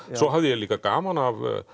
svo hafði ég líka gaman af